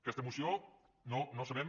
aquesta moció no sabem